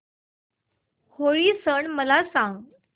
होळी मला सांगा